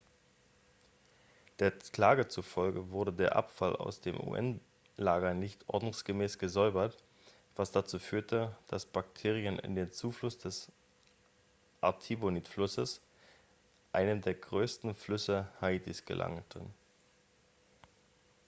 der klage zufolge wurde der abfall aus dem un-lager nicht ordnungsgemäß gesäubert was dazu führte dass bakterien in den zufluss des artibonit-flusses einem der größten flüsse haitis gelangten